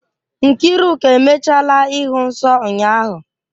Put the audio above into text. Nkiruka emechaala ịhụ nsọ ụnyahụ.